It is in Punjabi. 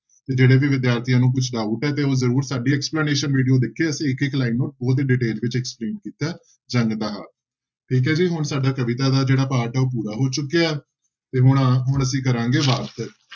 ਤੇ ਜਿਹੜੇ ਵੀ ਵਿਦਿਆਰਥੀਆਂ ਨੂੰ ਕੁਛ doubt ਹੈ ਤੇ ਉਹ ਜ਼ਰੂਰ ਸਾਡੀ explanation video ਦੇਖੇ ਅਸੀਂ ਇੱਕ ਇੱਕ line ਨੂੰ ਬਹੁਤ ਹੀ detail ਵਿੱਚ explain ਕੀਤਾ ਹੈ, ਜੰਗ ਦਾ ਹਾਲ ਠੀਕ ਹੈ ਜੀ, ਹੁਣ ਸਾਡਾ ਕਵਿਤਾ ਦਾ ਜਿਹੜਾ part ਹੈ ਉਹ ਪੂਰਾ ਹੋ ਚੁੱਕਿਆ, ਤੇ ਹੁਣ ਹੁਣ ਅਸੀਂ ਕਰਾਂਗੇ ਵਾਰਤਕ।